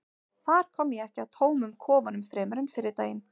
þar kom ég ekki að tómum kofanum fremur en fyrri daginn